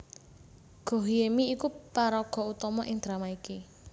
Go Hye Mi iku paraga utama ing drama iki